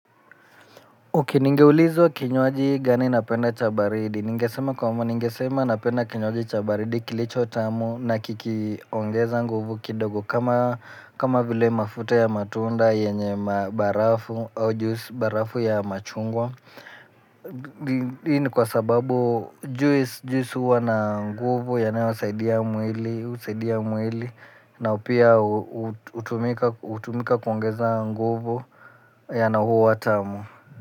Ok ningeulizwa kinywaji gani napenda cha baridi ningesema kwamba ningesema napenda kinywaji cha baridi kilicho tamu na kikiongeza nguvu kidogo kama kama vile mafuta ya matunda yenye barafu au juisi barafu ya machungwa hii ni kwa sababu juisi huwa na nguvu yanaosaidia mwili na pia hutumika hutumika kuongeza nguvu yeah na huwa tamu.